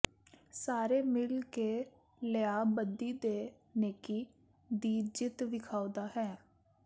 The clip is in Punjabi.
ਸਾਰੇ ਮਿਲ ਕੇ ਲਿਆ ਬਦੀ ਤੇ ਨੇਕੀ ਦੀ ਜਿੱਤ ਵੇਖਾਉਦਾ ਹੈ